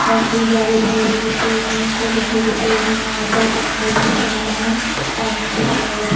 काफी ज्यादा बड़े बड़े पेड़ हैं। छोटे छोटे पेड़ हैं। यहां पर पत्थर भी पड़े हैं। पानी भी भरा हुआ --